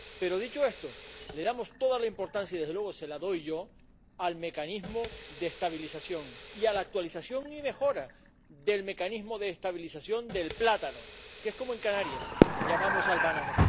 Pero, dicho esto, damos toda la importancia —y, desde luego, se la doy yo— al mecanismo de estabilización, y a la actualización y mejora del mecanismo de estabilización del plátano, que es como en Canarias llamamos al banano.